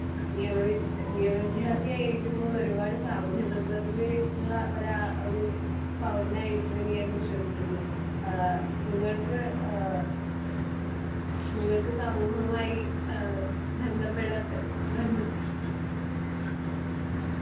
നിയമവി. നിയമവിദ്യാർത്ഥി ആയിരിക്കുമ്പോൾ ഒരുപാട് സാമൂഹ്യ പ്രതിബദ്ധതയുള്ള ഒരാൾ ഒരു പൗരനായിരിക്കുമെന്ന് ഞാൻ വിശ്വസിക്കുന്നു. അഹ് നിങ്ങൾക്ക് അഹ് നിങ്ങൾക്ക് സമൂഹവുമായി ഇഹ് ബന്ധപ്പെട ബന്ധപ്പെട